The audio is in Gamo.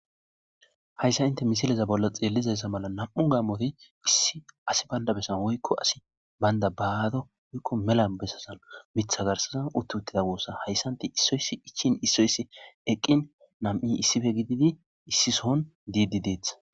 Hayissa inte misileza bolla xeellizayssa mala nam'u gaamote issi asi baynda bessan woykko asi baynda baado woykko mela bessasan mitha garsazan uttuttida goossa hayssanti issoyssi ichin issoyssi eqqin nam'i issife gididi issi sohon diidi deeth